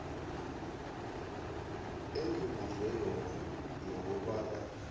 engibuzwe yona nokobana